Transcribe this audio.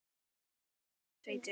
Tóti er ekkert feitur.